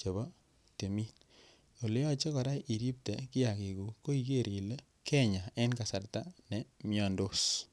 chebo timin Ole yoche kora iripte kiagikuk ko iger ile Kenyaa en kasarta ne miandos